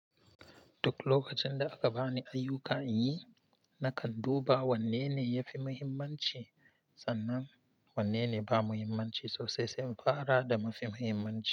Duk lokacin da aka bani ayyuka inyi, nakan duba wannene yafi mahimmanci sannan. Wanne ne ba muhimmanci sosai sai fara da mafi muhimmanci.